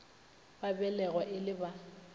ba belegwa e le ba